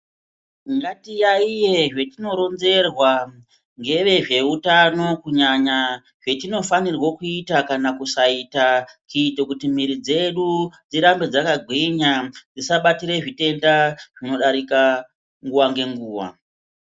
Nyatiyaiye zvetinoronzerwa nevezveutano kunyanya zvetinofanirwa kuita kana kuisata kuita kuti mwiri dzedu dzirambe dzakagwinya dzisabatire zvitenda zvinodarika nguwa ngenguwa.